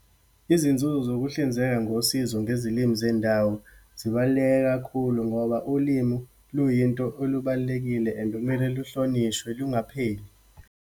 Izinzuzo zokuhlinzeka ngosizo ngezilimi zendawo, zibaluleke kakhulu, ngoba ulimu luyinto olubalulekile and kumele luhlonishwe, lungapheli.